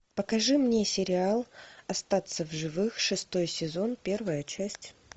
покажи мне сериал остаться в живых шестой сезон первая часть